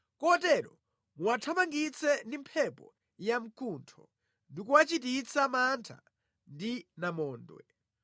kotero muwathamangitse ndi mphepo yamkuntho, ndi kuwachititsa mantha ndi namondwe.